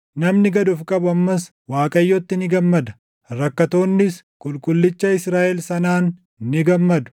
Namni gad of qabu ammas Waaqayyotti ni gammada; rakkattoonnis Qulqullicha Israaʼel sanaan ni gammadu.